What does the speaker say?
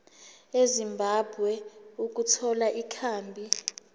ezimbabwe ukuthola ikhambi